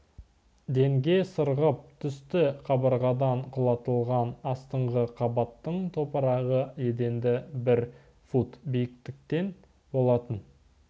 денге сырғып түсті қабырғадан құлатылған астыңғы қабаттың топырағы еденді бір фут биіктеткен болатын